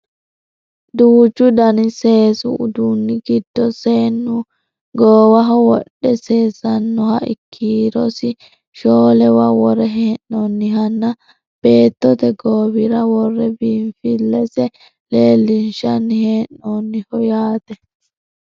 duuchu dani seesu uduunni giddo seennu goowaho wodhe seesnannoha kiirosi shoolewa worre hee'noonihanna beettote goowira worre biinfillesi leellinshanni hee'noonniho yaate